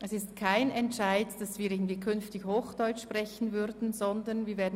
Es gibt keinen Entscheid, wonach wir künftig Hochdeutsch sprechen werden.